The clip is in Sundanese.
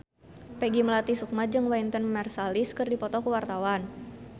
Peggy Melati Sukma jeung Wynton Marsalis keur dipoto ku wartawan